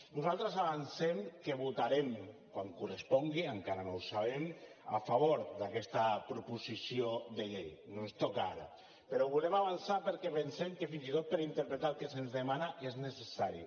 nosaltres avancem que votarem quan correspongui encara no ho sabem a favor d’aquesta proposició de llei no ens toca ara però ho volem avançar perquè pensem que fins i tot per interpretar el que se’ns demana és necessari